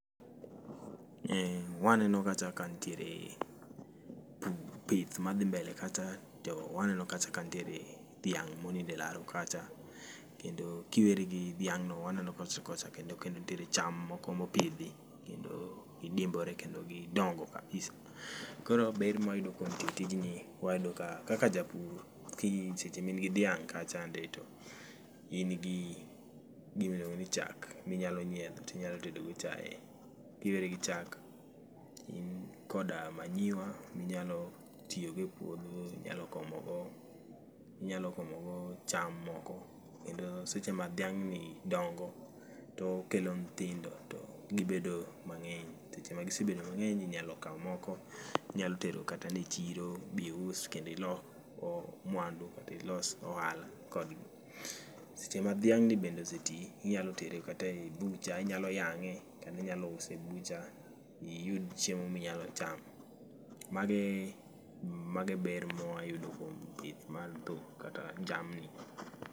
Waneno kacha ka nitiere pith madhi mbele kacha to waneno kacha ka nitiere dhiang' monindo e laro kacha. Kendo kiweri gi dhiang' no, waneno kacha kocha kendo nitiere cham moko mopidhi kendo gidimbore kendo gidongo kabisa. Koro ber mwayudo kuom timo tij ni wayudo ka kaka japur seche ma in gi dhiang' kachande, to in gi gimiluongo ni chak minyalo nyiedho tinyalo tedo go chae. Kiweri gi chak to in koda manyiwa, minyalo tiyo go e puodho, inyalo komo go, inyalo komo go cham moko kendo seche ma dhiang' ni dongo to okelo nyithindo to gibedo mang'eny. Seche ma gisebedo mang'eny inyalo kao moko inyalo tero kata e chiro bius kendo ilok mwandu kata ilos ohala kodgi. Seche ma dhiang' ni bende oseti, inyalo tere kata e butcher, inyalo yang'e, kendo inyalo uso e butcher iyud chiemo minyalo chamo. Mago e ber mwayudo kuom pith mar dhok kata jamni.